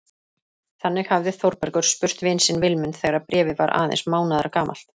Þannig hafði Þórbergur spurt vin sinn Vilmund þegar Bréfið var aðeins mánaðargamalt.